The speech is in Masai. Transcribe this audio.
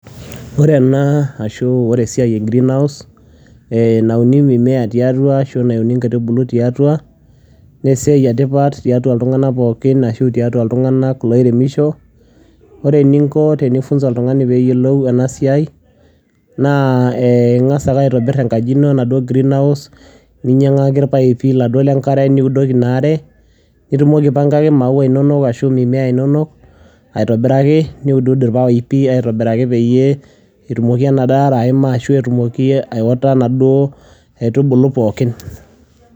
Wore enaa ashu wore esiai ee green house eeh nauni mimea tiatua ashu nauni inkaitubulu tiatua naa esiai etipat tiatua iltunganak pookin ashu tiatua iltunganak loo iremisho, wore eninko tenifunza oltungani peeyolu enasiai naa eeh ingas aitobir enkaji ino enaduo green house, ninyaki irpaipi niudoki inaare nitumoki aipangaki mauwa inonok ashu mimea inonok aitobiraki niuduudu irpaipi aitobiraki peyie etumoki enaduo aare aima ashu etumoki aewota naduo aitubulu pookin.